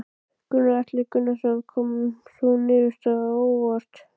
Gunnar Atli Gunnarsson: Kom sú niðurstaða á óvart?